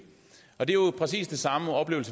er jo præcis det samme